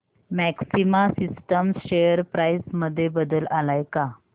maxima systems share price मध्ये बदल आलाय का